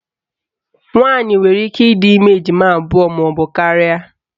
Nwaanyị nwere ike ịdị ime ejima abụọ maọbụ karịa